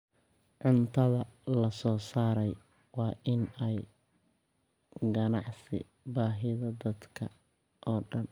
Cuntada la soo saaray waa in ay qancisaa baahida dadka oo dhan.